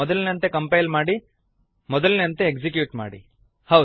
ಮೊದಲಿನಂತೆ ಕಂಪೈಲ್ ಮಾಡಿ ಮೊದಲಿನಂತೆ ಎಕ್ಸಿಕ್ಯೂಟ್ ಮಾಡಿ